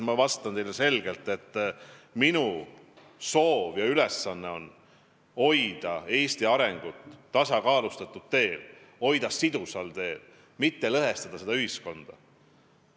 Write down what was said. Ma vastan teile selgelt, et minu soov ja ülesanne on hoida Eesti areng tasakaalustatud teel, hoida Eesti sidusal teel, mitte lõhestada ühiskonda.